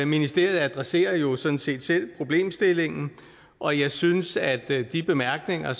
ministeriet adresserer jo sådan set selv problemstillingen og jeg synes at de bemærkninger